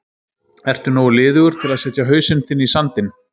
Ertu nógu liðugur til að setja hausinn þinn í sandinn?